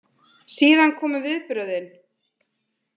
Síðan komu viðbrögðin.